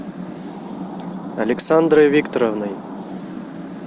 александрой викторовной